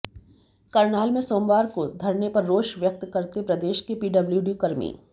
करनाल में सोमवार को धरने पर रोष व्यक्त करते प्रदेश के पीडब्ल्यूडी कर्मी